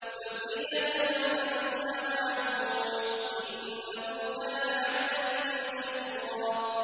ذُرِّيَّةَ مَنْ حَمَلْنَا مَعَ نُوحٍ ۚ إِنَّهُ كَانَ عَبْدًا شَكُورًا